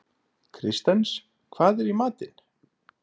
Kristens, hvað er í matinn?